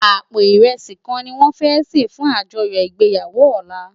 Àpó irèsí kán niwòn fè sé fún ájòyò igbéyàwó òlá